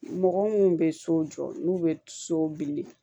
Mɔgɔ minnu bɛ so jɔ n'u bɛ so bili